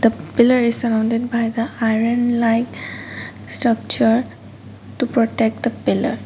the pillar is surrounded by the iron like structure to protect pillar.